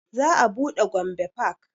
Za a buɗe gombe park